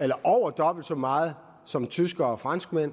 eller over dobbelt så meget som tyskland og frankrig